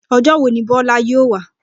Ojó wo ni Bólá yóò wá?